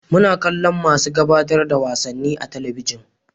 Muna kallon masu gabatar da wasanni a talabijin